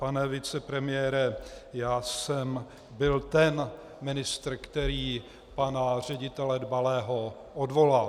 Pane vicepremiére, já jsem byl ten ministr, který pana ředitele Dbalého odvolal.